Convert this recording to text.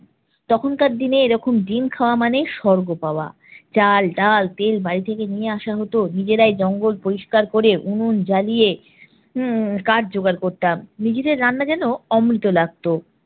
তখনকার দিনে ডিম খাওয়া মানে স্বর্গ পাওয়া। চাল, ডাল, তেল বাড়ি থেকে নিয়ে আসা হত। নিজেরাই জঙ্গল পরিষ্কার করে উনুন জ্বালিয়ে উম কাঠ জোগাড় করতাম। নিজেদের রান্না যেনো অমৃত লাগত।